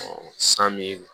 san min